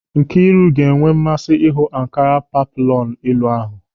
Nkịru ga-enwe mmasị ịhụ ankara peplọnu elu ahụ.